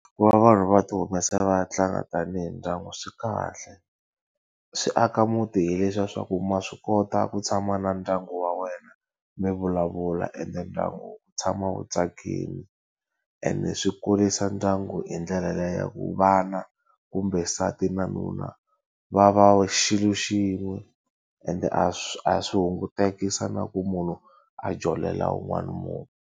Ku va vanhu va ti humesa va ya tlanga tanihi ndyangu swi kahle. Swi aka muti hileswiya swa ku ma swi kota ku tshama na ndyangu wa wena, mi vulavula ende ndyangu wu tshama wu tsakile. Ande swi kurisa ndyangu hi ndlela liya ya ku vana kumbe nsati na nuna, va va xilo xin'we ende a a swi hungutekisa na ku munhu a jolela un'wana munhu.